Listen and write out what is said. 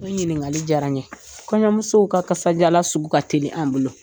O ɲininkakali diyara n ye kɔɲɔɲamusow ka kajalan sugu ka teli an bolo